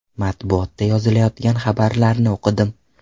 Matbuotda yozilayotgan xabarlarni o‘qidim.